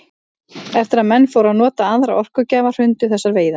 Eftir að menn fóru að nota aðra orkugjafa hrundu þessar veiðar.